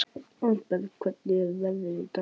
Arnberg, hvernig er veðrið í dag?